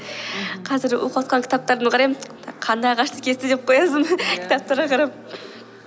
қазір оқып отқан кітаптарды қараймын қандай ағашты кесті деп қоясын иә кітаптарға қарап